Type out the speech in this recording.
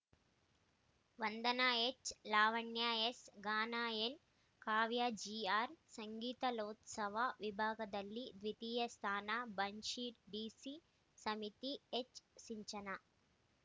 ವಂದನ ಎಚ್‌ಲಾವಣ್ಯ S ಗಾನ N ಕಾವ್ಯ G R ಸಂಗೀತಕಲೋತ್ಸವ ವಿಭಾಗದಲ್ಲಿ ದ್ವಿತೀಯ ಸ್ಥಾನ ಬನಶ್ರೀ ಡಿಸಿ ಸುಮತಿ ಎಚ್‌ ಸಿಂಚನ